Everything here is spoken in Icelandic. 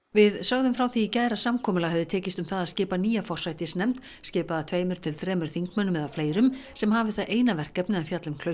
við sögðum frá því í gær að samkomulag hefði tekist um það að skipa nýja forsætisnefnd skipaða tveimur til þremur þingmönnum eða fleirum sem hafi það eina verkefni að fjalla um